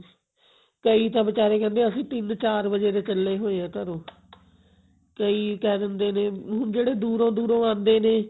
ਕਈ ਤਾ ਬਿਚਾਰੇ ਕਹਿੰਦੇ ਅਸੀਂ ਤਿੰਨ ਚਾਰ ਵਜੇ ਦੇ ਚੱਲੇ ਹੋਏ ਆ ਘਰੋ ਕਈ ਕਹਿ ਦਿੰਦੇ ਨੇ ਹੁਣ ਜਿਹੜੇ ਦੂਰੋਂ ਦੂਰੋਂ ਆਂਦੇ ਨੇ